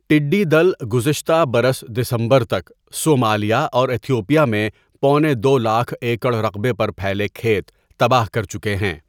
ٹڈّی دل گذشتہ برس دسمبر تک صومالیہ اور ایتھوپیا میں پونے دو لاکھ ایکڑ رقبے پر پھیلے کھیت تباہ کرچکے ہیں.